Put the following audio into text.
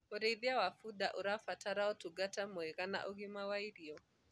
ũrĩithi wa bunda ũrabatara utungata mwega wa ũgima wa irio